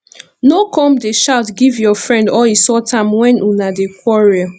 no come dey shout give your friend or insult am wen una dey quarrel